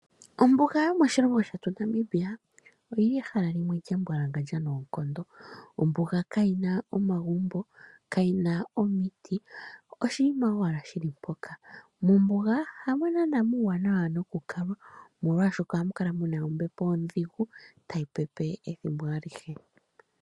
Ombuga yomoshilongo shetu Namibia oyili ehala lya mbwalangandja noonkondo. Ombuga kayina omagumbo, ombuga kayina omiti, oshinima owala shili mpoka. Mombuga hamo naana muuwanawa noku kalwa, molwaashoka ohamu kala muna ombepo ondhigu tayi pepe ethimbo alihe.